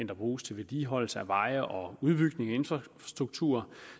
der bruges til vedligeholdelsen af veje og en udbygning af infrastrukturen